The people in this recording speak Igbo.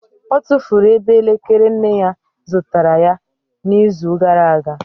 Ọ tụfuru ebe elekere nne ya zụtara ya n'izu gara aga